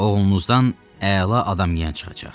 Oğlunuzdan əla adamiyən çıxacaq.